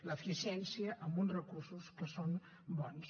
l’eficiència amb uns recursos que són bons